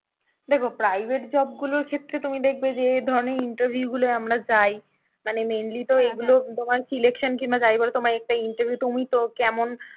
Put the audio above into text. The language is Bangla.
দেখো private job গুলোর ক্ষেত্রে তুমি দেখবে যে ধরনের interview গুলোয় আমরা যাই মানে mainly তো এগুলো তোমার কি election কিংবা যাই বলো তোমার একটা interview তুমি তো কেমন,